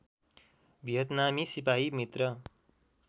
भियतनामी सिपाही मित्र